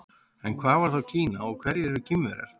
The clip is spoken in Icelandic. En hvað er þá Kína og hverjir eru Kínverjar?